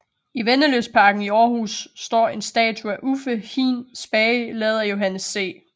I Vennelystparken i Århus står en statue af Uffe Hin Spage lavet af Johannes C